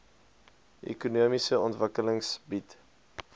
ekonomiese ontwikkeling bied